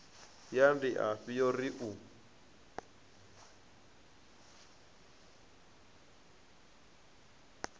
ya ndiafhi yo ri u